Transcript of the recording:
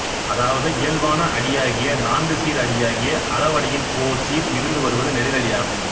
அதாவது இயல்பான அடியாகிய நான்குசீர் அடியாகிய அளவடியின் ஓர் சீர் மிகுந்து வருவது நெடிலடியாகும்